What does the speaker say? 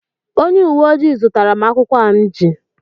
Onye uwe ojii zụtara m akwụukwọ a m ji